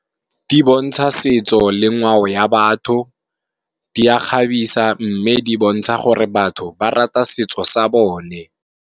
Di bontsha setso le ngwao ya batho, di a kgabisa mme di bontsha gore batho ba rata setso sa bone.